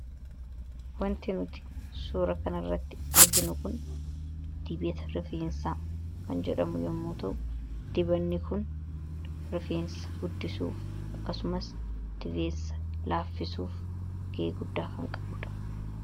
wanti nuti suura kan irratti arginu kun dibata rifeensaa kan jedhamu yommuu ta'u, dibanni kun rifeensa guddisuuf akkasumas dibeessa laaffisuuf ga'ee guddaa kan qabuudha.